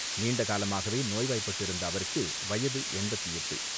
நீண்டகாலமாகவே நோய்வாய்ப்பட்டிருந்த அவருக்கு வயது எண்பத்து எட்டு.